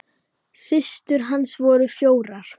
Systur hans voru fjórar.